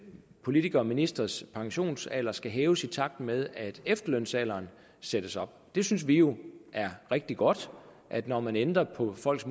politikere og ministres pensionsalder skal hæves i takt med at efterlønsalderen sættes op det synes vi jo er rigtig godt at når man ændrer på folks